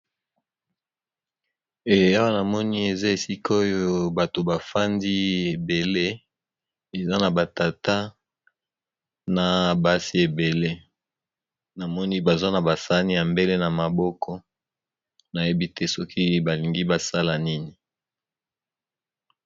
Eawa namoni eza esikoyo bato bafandi ebele eza na ba tata na basi ebele namoni baza na ba sani ya mbele na maboko nayebi te soki balingi basala nini.